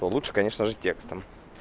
то лучше конечно же текстом